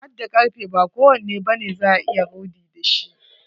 Hadda karfe, ba kowanne bane za a iya rodi da shi.